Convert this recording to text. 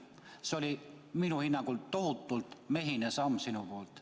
See oli minu hinnangul tohutult mehine samm sinu poolt.